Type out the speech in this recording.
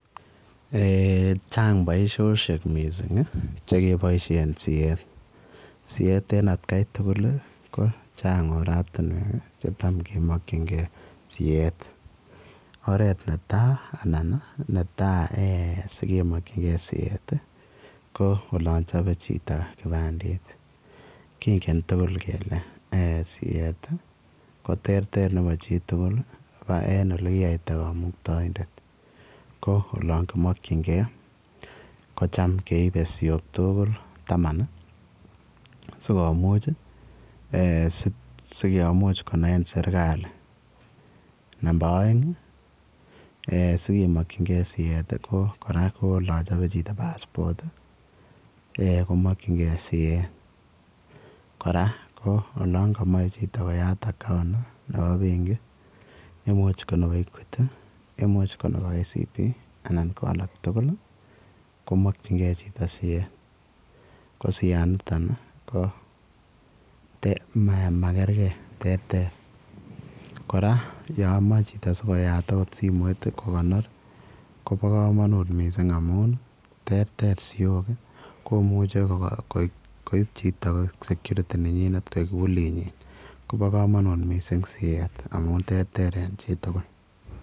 Eeh chang boisiosiek missing chekeboisien siet ii, siet en atkai tugul ko chang oratinwek chetam kemokyingee siet oret netaa anan netaa eeh sikemokyige siet ko olon chope chito kibandet kingen tugul kele ee siet koterter nebo chitugul en olekiyaita kamuktaindet, ko olon kimokyingee kocham keibe siok tuugul taman sikonaini serikali. nebo aeng sikemokyinge siet ko kora olon chope chito passport komokyinge siet, kora ko olon komoe chito koya account nebo benki imuch ko nebo Equity, imuch ko nebo KCB anan ko alak tugul komokyingee chito siet ko sianitoni komakerge terter kora yomoe chito sikoyat oot simoit kokonor kopokomonut missing amun terter siok ii komuche koip chito koik security nenyinet koik kibulinyin kobokomonut missing siet amun terter en chitugul.